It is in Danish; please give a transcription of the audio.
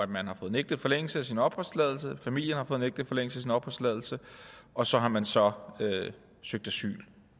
man har fået nægtet forlængelse af sin opholdstilladelse familien har fået nægtet forlængelse af sin opholdstilladelse og så har man så søgt asyl